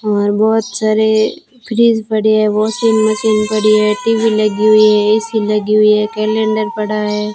और बहोत सारे फ्रिज पड़े हैं वाशिंग मशीन पड़ी है टी_वी लगी हुई है ए_सी लगी हुई है कैलेंडर पड़ा है।